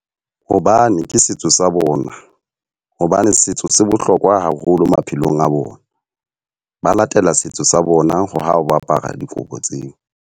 Hobane ke setso sa bona. Hobane setso se bohlokwa haholo maphelong a bona. Ba latela setso sa bona ho a apara dikobo tseo.